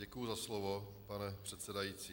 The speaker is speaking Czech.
Děkuji za slovo, pane předsedající.